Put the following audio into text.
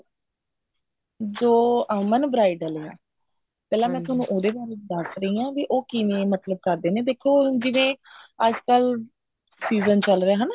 ਜੋ ਅਮਨ bridal ਐ ਪਹਿਲਾਂ ਮੈਂ ਤੁਆਨੂੰ ਉਹਦੇ ਬਾਰੇ ਦਸ ਰਹੀ ਹਾਂ ਵੀ ਉਹ ਕਿਵੇਂ ਮਤਲਬ ਕਰਦੇ ਨੇ ਦੇਖੋ ਹੁਣ ਜਿਵੇਂ ਅੱਜਕਲ season ਚੱਲ ਰਿਹਾ ਹਨਾ